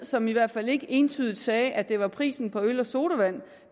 som i hvert fald ikke entydigt sagde at det var prisen på øl og sodavand